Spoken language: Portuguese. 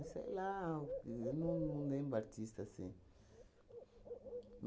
Sei lá, o ahn não não lembro o artista, assim.